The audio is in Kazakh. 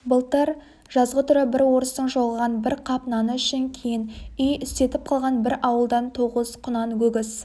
былтыр жазғытұры бір орыстың жоғалған бір қап наны үшін кейін үй істетіп қалған бір ауылдан тоғыз құнан өгіз